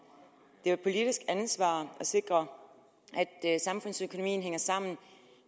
det er politisk ansvar at sikre at samfundsøkonomien hænger sammen